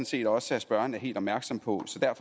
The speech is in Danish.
set også at spørgeren er helt opmærksom på